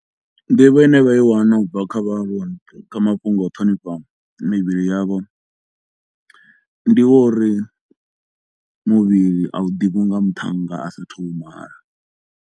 Nḓivho ine vha i wana u bva kha vhaaluwa kha mafhungo a ṱhonifha mivhili yavho ndi wa uri muvhili a u ḓivhiwi nga muthannga a sa a thu u mala.